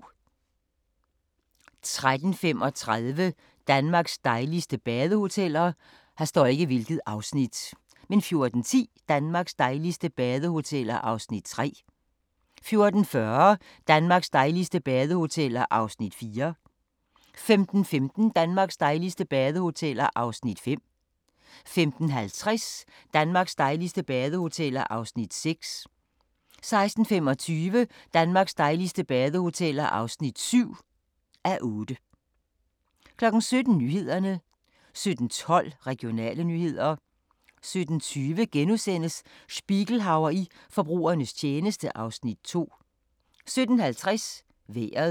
13:35: Danmarks dejligste badehoteller 14:10: Danmarks dejligste badehoteller (3:8) 14:40: Danmarks dejligste badehoteller (4:8) 15:15: Danmarks dejligste badehoteller (5:8) 15:50: Danmarks dejligste badehoteller (6:8) 16:25: Danmarks dejligste badehoteller (7:8) 17:00: Nyhederne 17:12: Regionale nyheder 17:20: Spiegelhauer i forbrugernes tjeneste (Afs. 2)* 17:50: Vejret